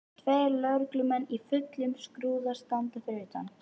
Tveir lögreglumenn í fullum skrúða standa fyrir utan.